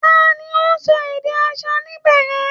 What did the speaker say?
Ta ni ó ń sọ èdè aṣa níbẹ̀ yẹn?